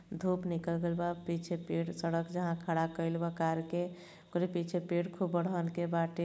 धूप निकल गयल बा। पीछे पेड़ सड़क जहां खड़ा कइल बा कार के ओकरी पीछे पेड़ खूब बरहन के बाटे।